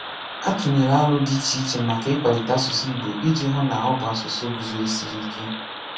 A tùnyèla àlò dị iche iche maka ịkwalite asụsụ Ìgbò iji hụ na ọ bụ asụsụ guzòsirì ike.